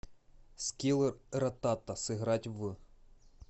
скилл ратата сыграть в